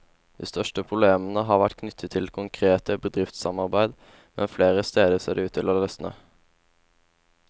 De største problemene har vært knyttet til konkrete bedriftssamarbeid, men flere steder ser det ut til å løsne.